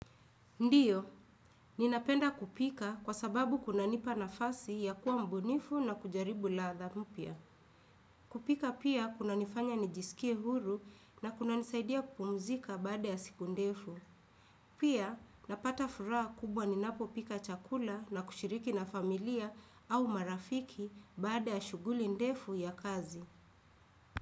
Ndiyo, ninapenda kupika kwa sababu kunanipa nafasi ya kuwa mubunifu na kujaribu ladha mpya. Kupika pia kuna nifanya nijisikie huru nakuna nisaidia kupumzika baada ya siku ndefu. Pia napata furaha kubwa ninapo pika chakula na kushiriki na familia au marafiki baada ya shuguli ndefu ya kazi.